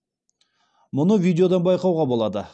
мұны видеодан байқауға болады